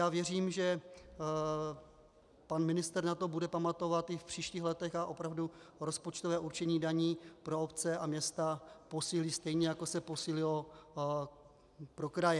Já věřím, že pan ministr na to bude pamatovat i v příštích letech a opravdu rozpočtové určení daní pro obce a města posílí, stejně jako se posílilo pro kraje.